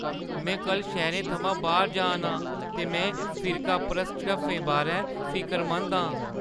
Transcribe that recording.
में कल शैह्‌रै थमां बाह्‌र जा नां ते में फिरकापरस्त झड़फ्फें बारै फिकरमंद आं।